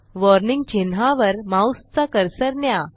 warning चिन्हावर माऊसचा cursor न्या